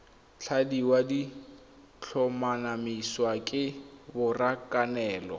tladiwa di tlhomamisiwa ke borakanelo